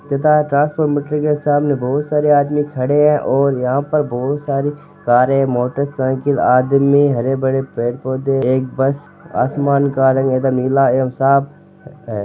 तथा transport meter के सामने बहुत सारे आदमी खड़े है और यहाँ पर बहुत सारी कारें मोटरसाइकिल आदमी हरे भरे पेड़ पौधे एक बस आसमान का रंग नीला एव साफ है।